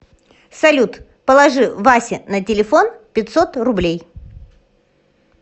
салют положи васе на телефон пятьсот рублей